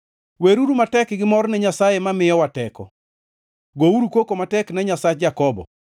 Weruru matek gi mor ne Nyasaye mamiyowa teko, gouru koko matek ne Nyasach Jakobo!